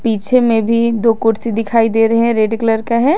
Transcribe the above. पीछे में भी दो कुर्सी दिखाई दे रहे है रेड कलर का है।